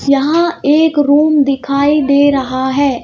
यहां एक रूम दिखाई दे रहा है।